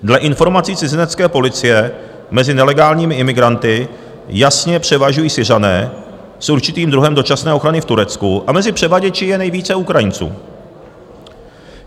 Dle informací cizinecké policie mezi nelegálními imigranty jasně převažují Syřané s určitým druhem dočasné ochrany v Turecku a mezi převaděči je nejvíce Ukrajinců.